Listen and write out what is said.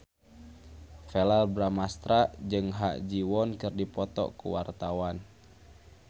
Verrell Bramastra jeung Ha Ji Won keur dipoto ku wartawan